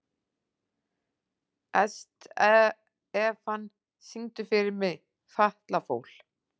Estefan, syngdu fyrir mig „Fatlafól“.